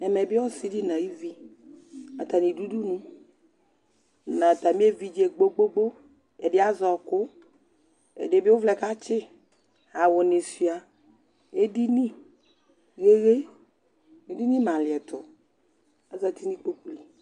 Ɛmɛ bɩ ɔsɩ dɩ nʋ ayuvi Atanɩ dʋ udunu nʋ atamɩ evidze gbo-gbo-gbo Ɛdɩ azɛ ɔɣɔkʋ Ɛdɩ bɩ ʋvlɛ katsɩ yɩ Awʋnɩ sʋɩa ediniɣeɣe, edini malɩɛtʋ Azati nʋ ikpoku li